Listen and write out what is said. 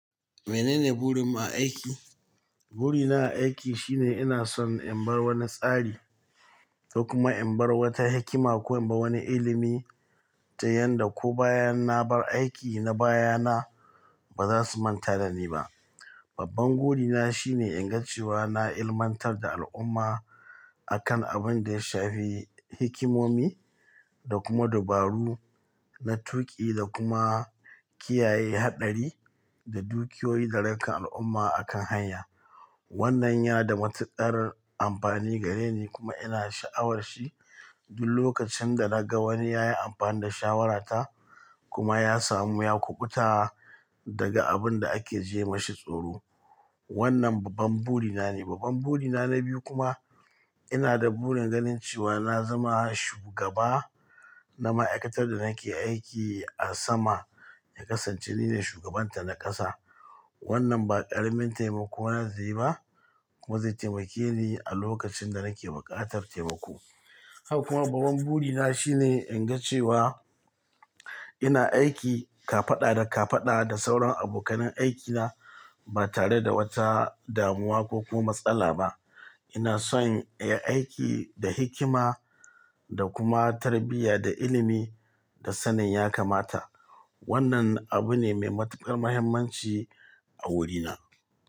Menene burinmu a aiki? Burina a aiki shine ina son in bar wani tsari, sai kuma in bar wata hikima ko in bar wani ilimi ta yanda ko bayan na bar aiki na baya na ba zasu manta dani ba. Babban burina shine in ga cewa na ilmantar da al'umma akan abinda ya shafi hikimomi da kuma dubaru na tuƙi da kuma kiyaye haɗari da dukiyoyi da rayukan al'umma akan hanya. Wannan yana da matuƙar amfani gare ni kuma ina sha'awar shi duk lokacin da naga wani yayi amfani da shawarata kuma ya samu ya kuɓuta daga abinda ake jiye ma shi tsoro. Wannan babban burina ne. Babban burina na biyu kuma ina da burin ganin cewa na zama shugaba na ma'aikatar da nake aiki a sama, ya kasance nine shugabanta na ƙasa. Wannan ba ƙaramin taimako na zai ba kuma zai taimake ni a lokacin da nake buƙatar taimako. Haka kuma babban burina shine in ga cewa ina aiki kafaɗa da kafaɗa da sauran abokanan aikina ba tare da wata damuwa ko kuma matsala ba. Ina son in aiki da hikima da kuma tarbiyya da ilimi da sanin ya kamata. Wannan abu ne mai matuƙar mahimmanci a wurina.